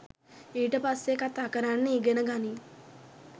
ඊට පස්සෙ කතා කරන්න ඉගෙන ගනින්